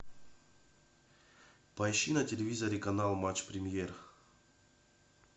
поищи на телевизоре канал матч премьер